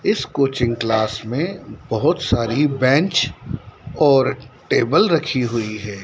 इस coaching class में बहुत सारी बेंच और टेबल रखी हुई है।